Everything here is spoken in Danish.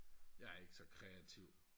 jeg er ikke så kreativ